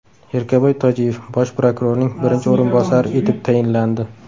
Erkaboy Tojiyev Bosh prokurorning birinchi o‘rinbosari etib tayinlandi.